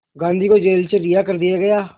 गांधी को जेल से रिहा कर दिया गया